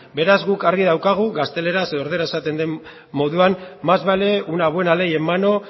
beraz guk argi daukagu gazteleraz edo erdaraz esaten den moduan más vale una buena ley en mano